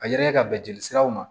A yelen ka bɛn jeli siraw ma